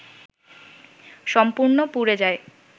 সম্পূর্ণ পুড়ে যায়